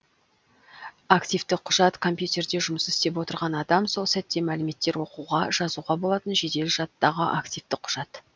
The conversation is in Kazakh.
активті құжат компьютерде жұмыс істеп отырған адам сол сәтте мәліметтер оқуға жазуға болатын жедел жадтағы активті құжат